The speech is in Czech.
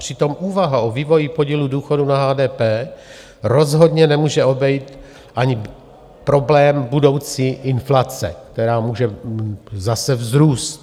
Přitom úvaha o vývoji podílu důchodu na HDP rozhodně nemůže obejít ani problém budoucí inflace, která může zase vzrůst.